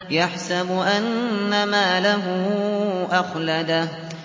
يَحْسَبُ أَنَّ مَالَهُ أَخْلَدَهُ